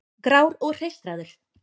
Grár og hreistraður.